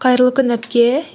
қайырлы күн әпке